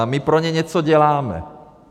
A my pro ně něco děláme.